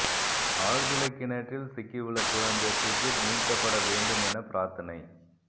ஆழ்துளை கிணற்றில் சிக்கியுள்ள குழந்தை சுர்ஜித் மீட்கப்பட வேண்டும் என பிரார்த்தனை